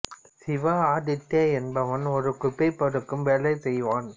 சிவா ஆதித்யா என்பவன் ஒரு குபை பொறுக்கும் வேலை செய்வன்